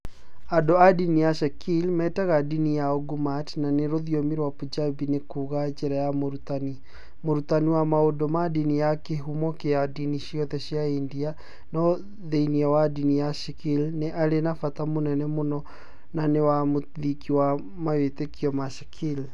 Andũ a ndini ya Sikh metaga ndini yao Gurmat, na rũthiomi rwa Punjabi nĩ kuuga "njĩra ya mũrutani".Mũrutani wa maũndũ ma ndini nĩ kĩhumo kĩa ndini ciothe cia India, no thĩinĩ wa ndini ya Sikh nĩ arĩ na bata mũnene mũno na nĩ we mũthingi wa mawĩtĩkio wa Sikh.